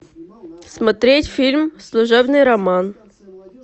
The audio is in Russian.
смотреть фильм служебный роман